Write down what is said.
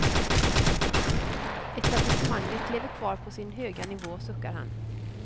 Etablissemanget lever kvar på sin höga nivå, suckar han.